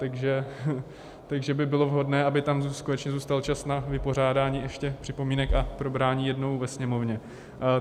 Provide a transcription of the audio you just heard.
Takže by bylo vhodné, aby tam konečně zůstal čas na vypořádání ještě připomínek a probrání jednou ve Sněmovně.